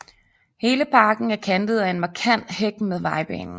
Hele parken er kantet af en markant hæk mod vejbanen